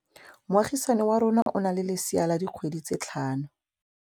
Moagisane wa rona o na le lesea la dikgwedi tse tlhano.